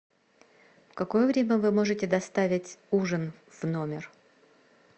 в какое время вы можете доставить ужин в номер